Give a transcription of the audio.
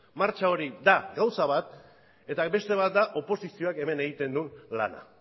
martxa hori da gauza bat eta beste bat da oposizioak hemen egiten duen lana